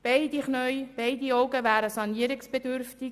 Beide Knie, beide Augen wären «sanierungsbedürftig».